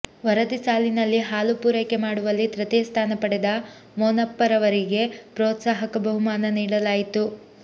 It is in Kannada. ವರದಿ ಸಾಲಿನಲ್ಲಿ ಹಾಲು ಪೂರೈಕೆ ಮಾಡುವಲ್ಲಿ ತೃತೀಯ ಸ್ಥಾನ ಪಡೆದ ಮೋನಪ್ಪರವರಿಗೆ ಪ್ರೋತ್ಸಾಹಕ ಬಹುಮಾನ ನೀಡಲಾಯಿತು